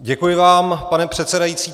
Děkuji vám, pane předsedající.